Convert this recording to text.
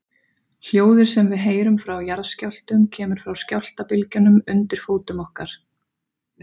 Hljóðið sem við heyrum frá jarðskjálftum kemur frá skjálftabylgjunum undir fótum okkar.